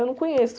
Eu não conheço.